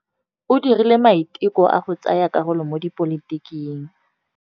O dirile maitekô a go tsaya karolo mo dipolotiking.